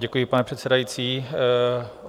Děkuji, pane předsedající.